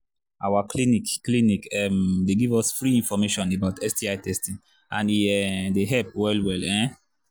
our clinic clinic um they give us free information about sti testing and e um they help well well um